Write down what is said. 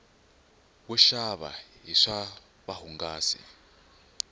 wo xava hi swa vuhungasi